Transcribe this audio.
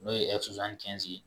N'o ye